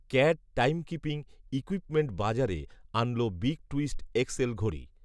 cat timekeeping equipment বাজারে আনল big twist X L ঘড়ি